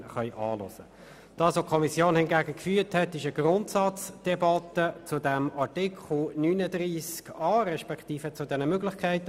Hingegen hat die Kommission eine Grundsatzdebatte zu Artikel 39a geführt.